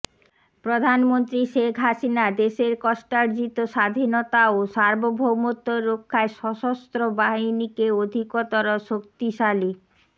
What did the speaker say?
প্রধানমন্ত্রী শেখ হাসিনা দেশের কষ্টার্জিত স্বাধীনতা ও সার্বভৌমত্ব রক্ষায় সশস্ত্র বাহিনীকে অধিকতর শক্তিশালী